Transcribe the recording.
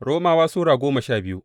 Romawa Sura goma sha biyu